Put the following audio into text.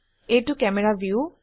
এইটো camera view